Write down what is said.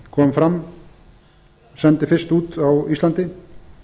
kom fram sendi fyrst út á íslandi